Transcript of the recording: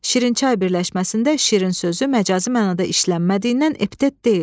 Şirinçay birləşməsində şirin sözü məcazi mənada işlənmədiyindən epitet deyil.